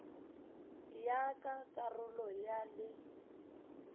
ya ka karolo ya le